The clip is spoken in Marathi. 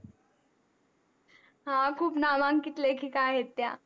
हा खूप नामांकित लेखिका आहेत त्या